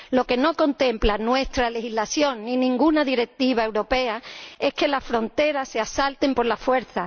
Lo que no contempla nuestra legislación ni ninguna directiva europea es que las fronteras se asalten por la fuerza.